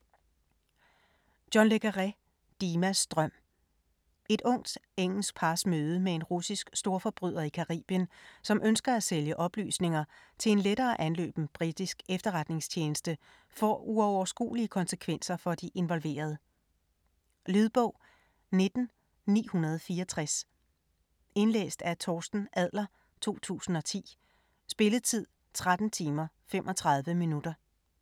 Le Carré, John: Dimas drøm Et ungt engelsk pars møde med en russisk storforbryder i Caribien, som ønsker at sælge oplysninger til en lettere anløben britisk efterretningstjeneste får uoverskuelige konsekvenser for de involverede. Lydbog 19964 Indlæst af Torsten Adler, 2010. Spilletid: 13 timer, 35 minutter.